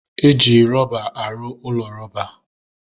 Eji rọba arụ ụlọ roba